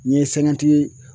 N'i ye